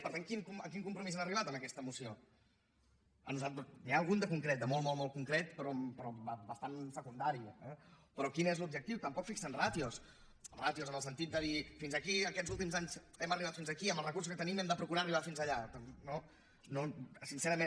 per tant a quin compromís han arribat amb aquesta moció n’hi ha algun de concret de molt molt concret però bastant secundari eh però quin és l’objectiu tampoc fixen ràtios ràtios en el sentit de dir fins aquí aquests últims anys hem arribat fins aquí amb els recursos que tenim hem de procurar arribar fins allà no eh sincerament